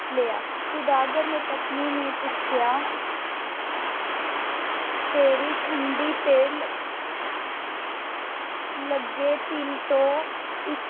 ਲਿਆ । ਸੁਦਾਗਰ ਨੇ ਪਤਨੀ ਨੇ ਪੁੱਛਿਆ। ਤੇਰੀ ਠੋਡੀ ਤਿਲ ਲੱਗੇ ਤਿਲ ਤੋਂ, ਇੱਕ